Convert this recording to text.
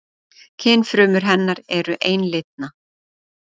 Kynfrumur hennar eru einlitna.